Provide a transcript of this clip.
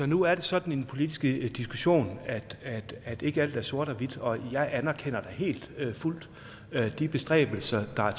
nu er det sådan i den politiske diskussion at ikke alt er sort og hvidt og jeg anerkender da helt og fuldt de bestræbelser der er